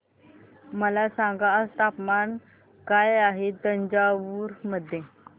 मला सांगा तापमान काय आहे तंजावूर मध्ये